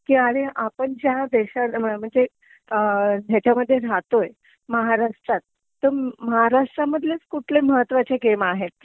कि अरे आपण ज्या देशा म्हणजे ह्यांच्यामध्ये राहतोय महाराष्ट्रत तर महाराष्ट्रामध्येच कुठले महत्वाचे गेम आहेत